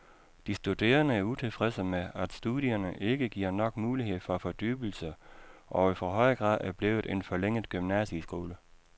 De studerende er utilfredse med, at studierne ikke giver nok mulighed for fordybelse og i for høj grad er blevet en forlænget gymnasieskole.